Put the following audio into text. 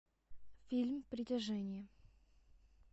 фильм притяжение